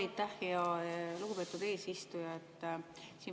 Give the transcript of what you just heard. Aitäh, lugupeetud eesistuja!